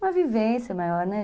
Uma vivência maior, né?